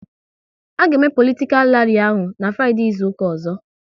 A ga eme politikal ralli ahụ n'Fraideee izuka ọzọ